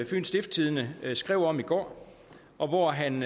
fyens stiftstidende skrev om i går og hvor han